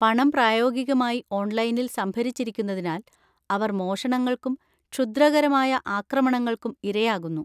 പണം പ്രായോഗികമായി 'ഓൺലൈനിൽ' സംഭരിച്ചിരിക്കുന്നതിനാൽ, അവർ മോഷണങ്ങൾക്കും ക്ഷുദ്രകരമായ ആക്രമണങ്ങൾക്കും ഇരയാകുന്നു.